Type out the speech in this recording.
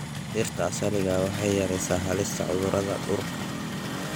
Dhirta asaliga ah waxay yaraysaa halista cudurada duurka.